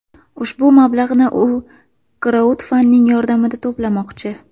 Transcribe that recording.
Ushbu mablag‘ni u kraudfanding yordamida to‘plamoqchi.